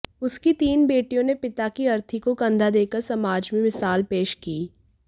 उसकी तीन बेटियों ने पिता की अर्थी को कंधा देकर समाज में मिसाल पेश की